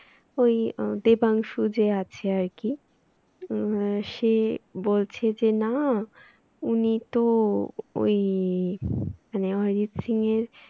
ওই আহ দেবাংশ যে আছে আর কি আহ সে বলছে যে না উনি তো ওই মানে অরিজিৎ সিং এর